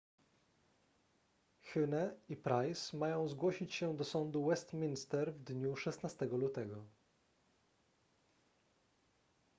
huhne i pryce mają zgłosić się do sądu westminster w dniu 16 lutego